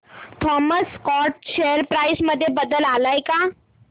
Thomas Scott share price मध्ये बदल आलाय का